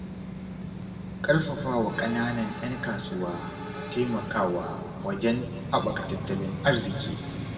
Ƙarfafawa ƙananan 'yan kasuwa na taimakawa wajen haɓaka tattalin arziki.